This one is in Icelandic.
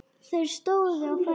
Þeir stóðu á fætur.